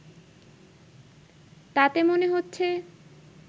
তাতে মনে হচ্ছে